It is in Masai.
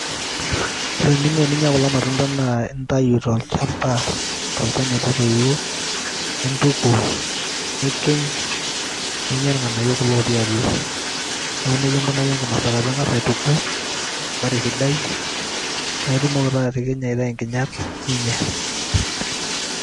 ore eninko teninyia kulo matunda naa intayu tolchampa, tolchani lotoiwuo. intubul, nikiny, ninyia irng'anayio lotii atua. neeku nejia inkunaki enkinosata. pee ing'as aituku te nkare sidai paa itumoki taa atikinya aitau nkinyat ninyia.